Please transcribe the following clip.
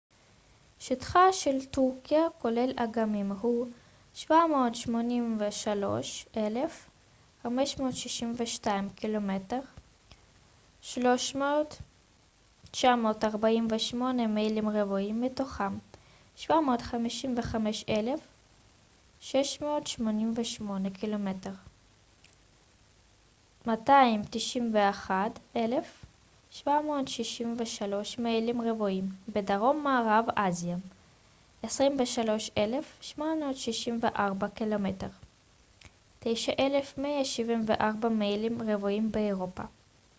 "שטחה של טורקיה כולל אגמים הוא 783,562 קמ""ר 300,948 מיילים רבועים מתוכם 755,688 קמ""ר 291,773 מיילים רבועים בדרום מערב אסיה ו-23,764 קמ""ר 9,174 מיילים רבועים באירופה.